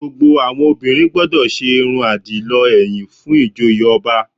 Gbogbo àwọn obìnrin gbọdọ̀ ṣe irun àdìlọ ẹ̀yìn fún ìjoyè ọba